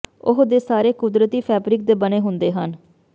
ਉਹ ਦੇ ਸਾਰੇ ਕੁਦਰਤੀ ਫੈਬਰਿਕ ਦੇ ਬਣੇ ਹੁੰਦੇ ਹਨ